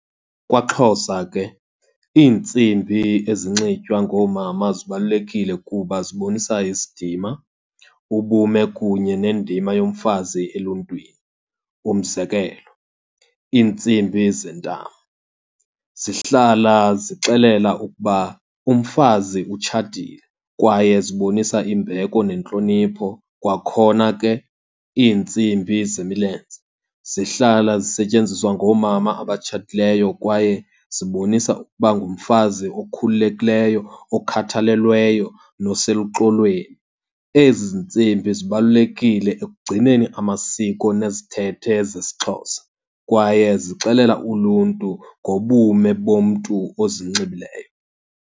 KwaXhosa ke iintsimbi ezinxitywa ngoomama zibalulekile kuba zibonisa isidima, ubume, kunye nendima yomfazi eluntwini. Umzekelo, iintsimbi zentamo zihlala zixelela ukuba umfazi utshatile kwaye zibonisa imbeko nentlonipho. Kwakhona ke iintsimbi zemilenze zihlala zisetyenziswa ngoomama abatshatileyo kwaye zibonisa ukuba ngumfazi okhululekileyo, okhathalelweyo noseluxolweni. Ezi zintsimbi zibalulekile ekugcineni amasiko nezithethe zesiXhosa kwaye zixelela uluntu ngobume bomntu ozinxibileyo.